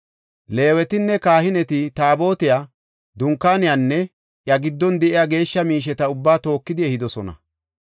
Leewetinne kahineti Taabotiya, Dunkaaniyanne iya giddon de7iya geeshsha miisheta ubbaa tookidi ehidosona.